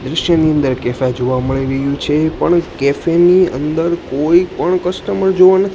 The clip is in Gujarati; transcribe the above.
દ્રશ્યની અંદર કેફે જોવા મળી રહ્યુ છે પણ કૅફે ની અંદર કોઈ પણ કસ્ટમર જોવા ન--